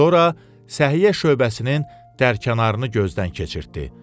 Sonra səhiyyə şöbəsinin dərkənarını gözdən keçirtdi.